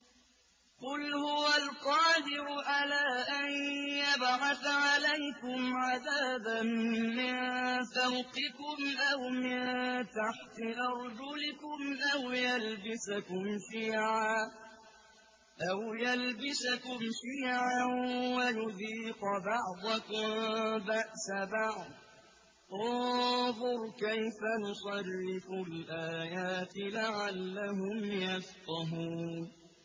قُلْ هُوَ الْقَادِرُ عَلَىٰ أَن يَبْعَثَ عَلَيْكُمْ عَذَابًا مِّن فَوْقِكُمْ أَوْ مِن تَحْتِ أَرْجُلِكُمْ أَوْ يَلْبِسَكُمْ شِيَعًا وَيُذِيقَ بَعْضَكُم بَأْسَ بَعْضٍ ۗ انظُرْ كَيْفَ نُصَرِّفُ الْآيَاتِ لَعَلَّهُمْ يَفْقَهُونَ